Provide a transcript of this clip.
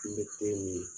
Kun bɛ te min